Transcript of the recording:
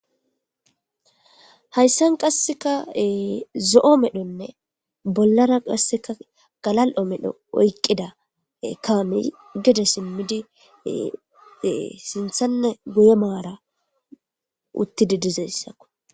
hayssan qasseka zo7o medhonne bollara qasseka galal7o medho oykqida kaame gede simmidi sinthanne guye maara uttide dizassako.